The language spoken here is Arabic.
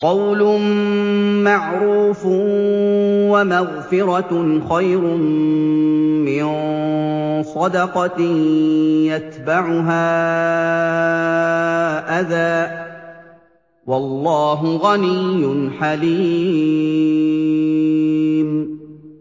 ۞ قَوْلٌ مَّعْرُوفٌ وَمَغْفِرَةٌ خَيْرٌ مِّن صَدَقَةٍ يَتْبَعُهَا أَذًى ۗ وَاللَّهُ غَنِيٌّ حَلِيمٌ